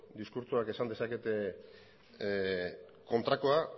diskurtsoak esan dezakete kontrakoa